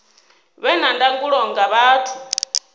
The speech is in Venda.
vhe na ndangulo nga vhathu